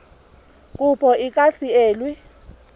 kopo e ka se elwe